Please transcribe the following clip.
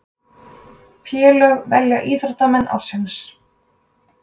Félög velja íþróttamenn ársins